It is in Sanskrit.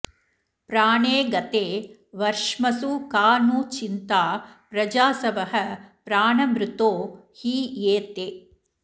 प्राणे गते वर्ष्मसु का नु चिन्ता प्रजासवः प्राणभृतो हि ये ते